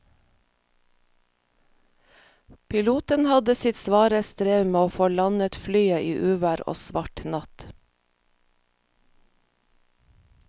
Piloten hadde sitt svare strev med å få landet flyet i uvær og svart natt.